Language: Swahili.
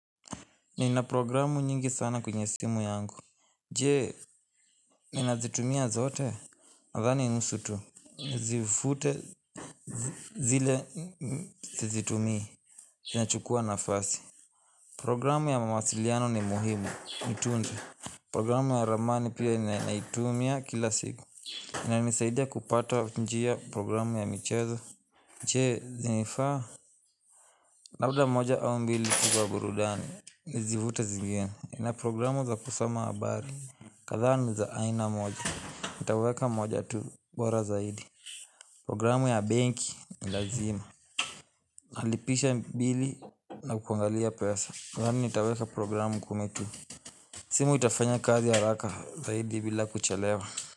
Nina programu nyingi sana kwenye simu yangu. Jee, nina zitumia zote? Nadhani nusu tu. Nizivute zile zizitumii. Zinachukua nafasi. Programu ya mawasiliano ni muhimu. Nitunze. Programu ya ramani pia ninaitumia kila siku. Inanisaidia kupata njia, programu ya michezo. Jee, zinifaa? Labda moja au mbili tu za burudani. Zivute zingine. Nina programu za kusoma habari kadhaa ni za aina moja. Nitaweka moja tu Wara zaidi Programu ya benki nilazima Halipisha bili na kukungalia pesa. Yani nitaweka programu kumi tu. Simu itafanya kazi haraka zaidi bila kuchelewa.